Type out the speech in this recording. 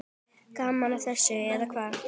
Gaman að þessu, eða hvað?